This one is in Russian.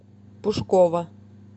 пушкова